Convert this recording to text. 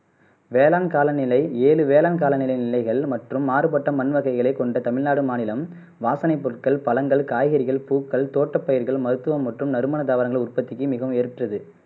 வேளாண் கால நிலை ஏழு வேளாண் கால நில நிலைகள் மற்றும் மாறுபட்ட மண்வகைகளை கொண்ட தமிழ்நாடு மாநிலம் வாசனை பொருள்கள் பழங்கள் காய்கறிகள் பூக்கள் தோட்டபயிர்கள் மருத்துவம் மற்றும் நறுமன தாவரங்கள் உற்பத்திக்கு மிகவும் ஏற்றது